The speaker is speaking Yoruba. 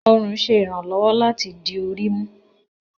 Ọrun ṣe iranlọwọ lati di ori mu.